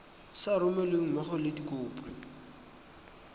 sa romelweng mmogo le dikopo